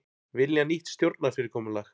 Vilja nýtt stjórnarfyrirkomulag